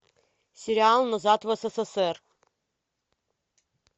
сериал назад в ссср